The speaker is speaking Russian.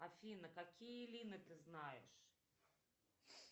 афина какие лины ты знаешь